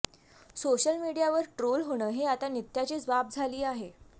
social मीडियावर troll होणं हे आता नित्याचीच बाब झाली आहे